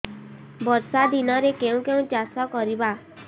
ବର୍ଷା ଦିନରେ କେଉଁ କେଉଁ ପରିବା ଚାଷ କରିବା